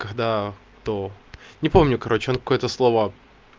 когда кто не помню короче он какое-то слово